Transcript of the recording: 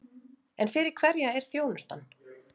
En fyrir hverja er þjónustan?